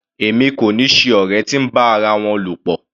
Èmi kò ni ṣe ọ̀rẹ́ tí ń bá ara wọn lọ̀pọ̀.